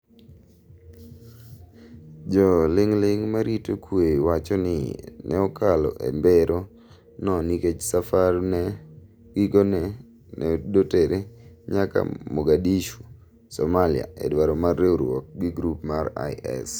Jo ling’ling ma rito kwe wacho ni ne okalo e mbero no nikech safar me gikone ne dotere nyaka Morgadishu, Somalia e dwaro mar riwruok ki grup mar IS